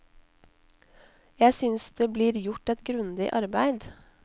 Jeg synes det blir gjort et grundig arbeid.